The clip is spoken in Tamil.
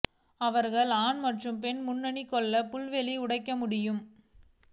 அவர்கள் ஆண் மற்றும் பெண் முன்னணி கொல்ல புல்வெளி உடைக்க முடியும்